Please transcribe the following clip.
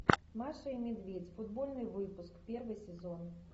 маша и медведь футбольный выпуск первый сезон